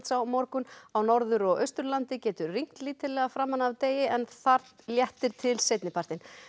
á morgun á Norður og Austurlandi getur rignt lítillega framan af degi en þar léttir til seinni partinn